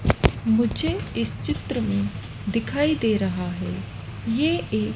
मुझे इस चित्र में दिखाई दे रहा है ये एक--